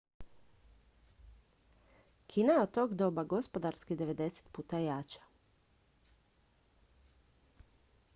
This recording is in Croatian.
kina je od tog doba gospodarski 90 puta jača